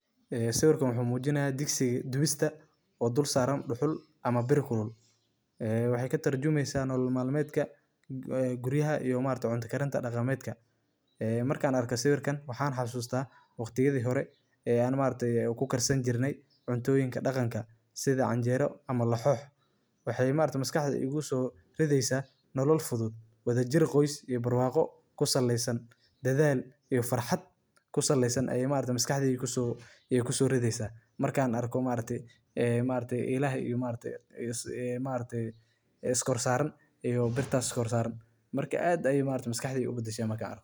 Waa alaab muhiim ah oo loo isticmaalo guriga iyo jikada si loo ilaaliyo una taageero sufuriyada marka la karinayo cuntada. Waxay ka samaysan yihiin walxo adag sida birta, alwaaxa, ama caag tayo leh oo awood u leh inay sufuriyada ku hayaan meel joogto ah, si aysan u dhaafin ama u dhicin inta la karinayo, waxay ka caawiyaan in la fududeeyo qaadista sufuriyada kulul iyada oo aan gacmaha lagu gubin, sidoo kalena waxay bixiyaan taageero dheeraad ah oo ka hortagta in sufuriyada ay simbiriirixato ama burburto.